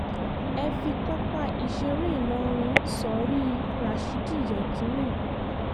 ẹ fi pápá ìṣeré ìlọrin sórí rashidi yekini